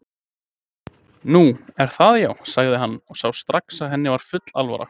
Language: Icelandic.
Nú. er það já, sagði hann og sá strax að henni var full alvara.